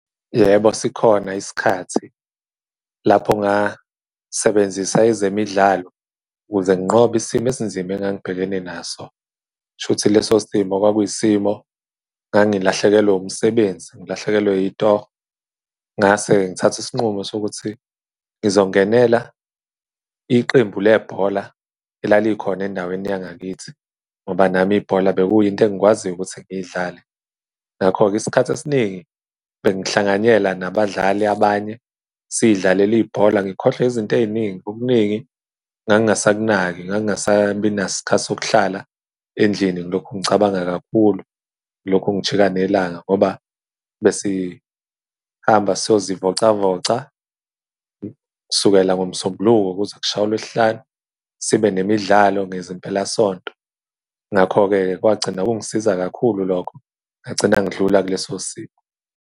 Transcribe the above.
Yebo, sikhona isikhathi lapho ngasebenzisa ezemidlalo ukuze nginqobe isimo esinzima engangibhekene naso. K'shuthi leso simo kwakuyi isimo ngangilahlekelwe umsebenzi, ngilahlekelwe itoho, ngase ngithathe isinqumo sokuthi ngizongenela iqembu lebhola elalikhona endaweni yangakithi ngoba nami ibhola bekuyinto engikwaziyo ukuthi ngiy'dlale. Ngakho-ke isikhathi esiningi bengihlanganyela nabadlali abanye, siy'dlalele ibhola. Ngikhohlwe izinto ey'ningi, okuningi ngangingasakunaki, ngangingasabinaso isikhathi sokuhlala endlini, ngilokhu ngicabanga kakhulu, ngilokhu ngijika nelanga, ngoba besihamba siyozivocavoca. Kusukela ngoMsombuluko kuze kushaye uLwesihlanu, sibe nemidlalo ngezimpelasonto. Ngakho-ke-ke kwagcina ukungisiza kakhulu lokho, ngagcina ngidlula kuleso simo.